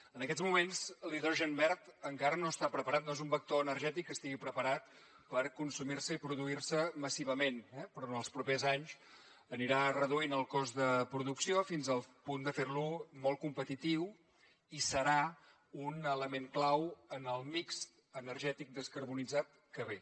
en aquests moments l’hidrogen verd encara no està preparat no és un vector energètic que estigui preparat per consumir se i produir se massivament però en els propers anys anirà reduint el cost de producció fins al punt de fer lo molt competitiu i serà un element clau en el mix energètic descarbonitzat que ve